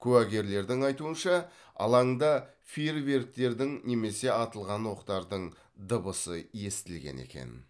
куәгерлердің айтуынша алаңда фейерверктердің немесе атылған оқтардың дыбысы естілген екен